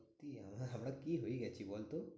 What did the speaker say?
কি আমরা? আমরা কি হয়ে গেছি বলতো?